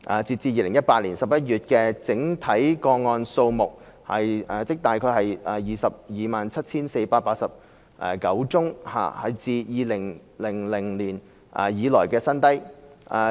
截至2018年11月，綜援整體個案數目為 227,489 宗，是自2000年以來的新低。